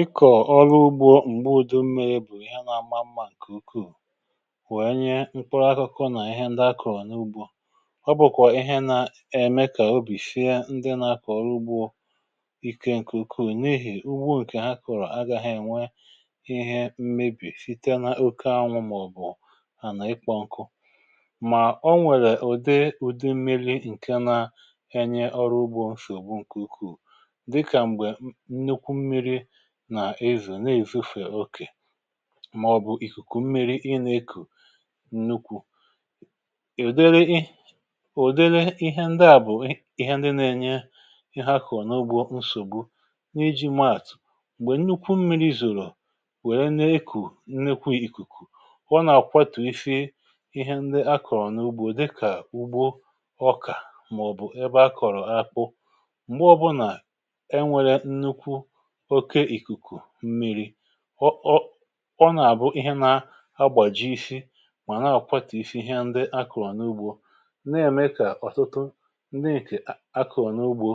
Ịkọ̀ ọrụ ugbȯ m̀gbe ụdị mmei̇ bụ̀ ihe nȧ-ama mmȧ ǹkè ukwuù, wèe nye mkpọrọ akụkụ nà ihe ndị akọ̀rọ̀ n’ugbȯ. ọ bụ̀kwà ihe nà ème kà obì shie ndị nȧ-akọ̀ ọrụ ugbȯ ikė ǹkè ukwuù, n’ihì ugbu ǹkè ha kọ̀rọ̀ agȧghị ènwe ihe mmebì site n’oke anwụ̇, màọ̀bụ̀ ànà ikpọ̇ ǹkụ. Mà o nwèrè ụ̀de ụ̀dè mmi̇li ǹkè na-enye ọrụ ugbȯ ǹshògbu ǹkè ukwuù, dịka mgbe nnekwụ mmịrị nà-èzò, na-èzòfè okè, màọ̀bụ̀ ìkùkù mmiri ị nà-ekù nnukwu̇, ùdeli i ùdeli ihe ndi à bụ̀ ihe ndi na-ènye ihe akọ̀rọ̀ n’ugbo nsògbu. N’iji maàtù, m̀gbè nnukwu mmiri̇ zòrò wère na-ekù nnekwu ìkùkù, ọ nà-àkwàtù ife ihe ndi a kọ̀rọ̀ n’ugbȯ dịkà ugbo ọkà, màọ̀bụ̀ ebe a kọ̀rọ̀ akpụ. Mgbe ọ̇bụ̇nà enwėrė nnukwu ọke ịkụkụ mmịrị, ọ ọ ọ nà-àbụ ihe nȧ -agbàji isi, mà nà-àkwatà isi ihe ndi akụ̀rụ̀ n’ugbȯ, na-ème kà ọ̀tụtụ ndi èkè akụ̀rụ̀ n’ugbȯ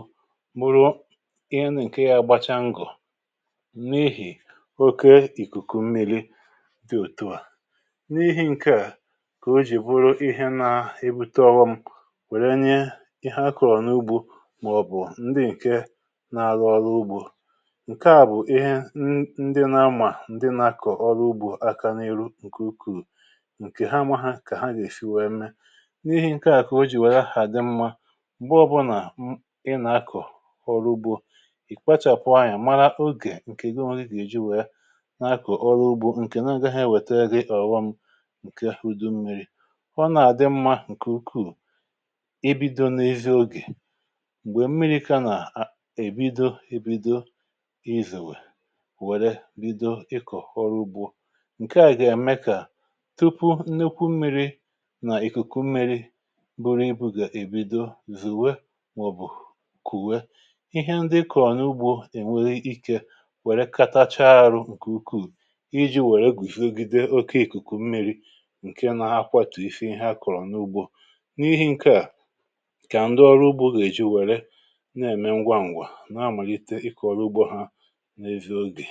mụ̀rụ ihe nà ǹke yȧ gbacha ngọ̀, mmèhì oke ìkùkù mmili dị òtùa. N’ihi ǹkè à kà o jì bụrụ ihe nȧ-ebu tọwa ọghọ m wèrè nye ihe akụ̀rụ̀ n’ugbȯ, màọ̀bụ̀ ndi ǹke na-arụ ọrụ ugbȯ. Nke a bụ ihe ndị na-amà ndị na-akọ ọrụ ugbȯ aka n’ihu ǹkè ukwuu, ǹkè ha ama ha kà ha gà-èsi wee mee. N’ihe ǹke àkụ o jì wère àdị mmȧ m̀gbo bụ nà ị nà-akọ̀ ọrụ ugbȯ, ì kpachọ̀pụ anyȧ màrà ogè ǹkè ego ọnwụ gị gà-èji wee na-akọ ọrụ ugbȯ ǹkè nà ngagha ha ewète gị ọ̀ghọm ǹke udu mmiri̇. Ọ nà-àdị mmȧ ǹkè ukwuù i bido n’isia ogè, m̀gbè mmiri̇ ka nà èbido ebido ịzọwe wère bido ịkọ̀họrọ ugbȯ. Nke à gà-ème kà tupu nnukwu mmiri̇ nà ìkùkù mmiri̇ bụrụ ibù gà-èbido zùwe, màọ̀bụ̀ kùwè, ihe ndị ikọ̀rọ̀ n’ugbȯ ènwere ikė wère katachaa arụ̇ ǹkè ukwuù, iji̇ wère gwùzogide oke ìkùkù mmiri̇ ǹke na-akwatù ife ihe a kọ̀rọ̀ n’ugbȯ. N’ihi̇ ǹkè à ka ndị ọrụ ugbȯ gà-èji wère na-ème ngwa ṅgwà na-amàlite ịkọ̀rọ̀ ugbȯ ha na ezị ọge.